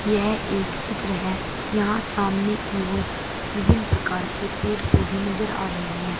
यह एक चित्र है यहां सामने की ओर विभिन्न प्रकार के पेड़ पौधे नजर आ रही हैं।